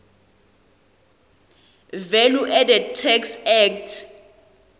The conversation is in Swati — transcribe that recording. valueadded tax act